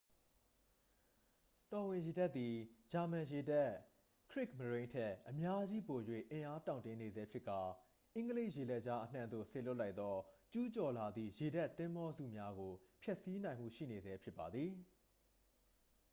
တော်ဝင်ရေတပ်သည် ဂျာမန်ရေတပ် ခရစ်မရိုန်း” ထက် အများကြီးပို၍အင်အားတောင့်တင်းနေဆဲဖြစ်ကာ အင်္ဂလိပ်ရေလက်ကြားအနှံ့သို့ စေလွှတ်လိုက်သော ကျူးကျော်လာသည့် ရေတပ်သင်္ဘောစုများကို ဖျက်ဆီးနိုင်မှုရှိနေဆဲဖြစ်ပါသည်။